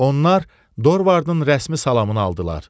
Onlar Dorvardın rəsmi salamını aldılar.